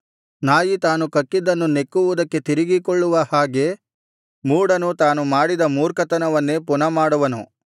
ನಾಯಿ ತಾನು ಕಕ್ಕಿದ್ದನ್ನು ನೆಕ್ಕುವುದಕ್ಕೆ ತಿರುಗಿಕೊಳ್ಳುವ ಹಾಗೆ ಮೂಢನು ತಾನು ಮಾಡಿದ ಮೂರ್ಖತನವನ್ನೇ ಪುನಃ ಮಾಡುವನು